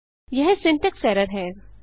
यह syntax error है